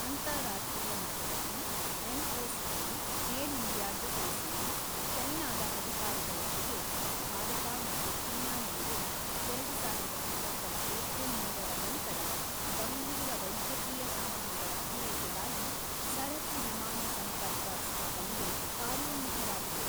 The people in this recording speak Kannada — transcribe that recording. ಅಂತಾರಾಷ್ಟ್ರೀಯ ಮಟ್ಟದಲ್ಲಿ ಎಂಒಸಿಎ, ಏರ್ ಇಂಡಿಯಾ ಜೊತೆ ಸೇರಿ ಚೈನಾದ ಅಧಿಕಾರಿಗಳೊಂದಿಗೆ ಭಾರತ ಮತ್ತು ಚೀನಾ ನಡುವೆ, ಎರಡು ಸಾವಿರದ ಇಪ್ಪತ್ತರ ಏಪ್ರಿಲ್ ಮೂರರ ನಂತರ ಗಂಭೀರ ವೈದ್ಯಕೀಯ ಸಾಮಗ್ರಿಗಳ ಪೂರೈಕೆಗಾಗಿ ಸರಕು ವಿಮಾನ ಸಂಪರ್ಕ ಸ್ಥಾಪನೆಗೆ ಕಾರ್ಯೋನ್ಮುಖವಾಗಿವೆ.